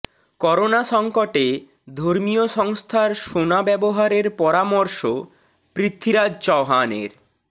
corona সংকটে ধর্মীয় সংস্থার সোনা ব্যবহারের পরামর্শ পৃথ্বীরাজ চৌহানের